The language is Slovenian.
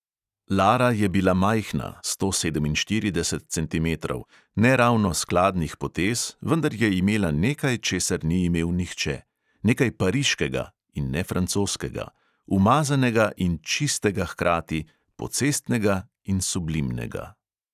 Lara je bila majhna (sto sedeminštirideset centimetrov), ne ravno skladnih potez, vendar je imela nekaj, česar ni imel nihče: nekaj pariškega (in ne francoskega), umazanega in čistega hkrati, pocestnega in sublimnega.